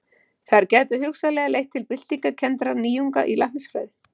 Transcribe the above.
þær gætu hugsanlega leitt til byltingarkenndra nýjunga í læknisfræði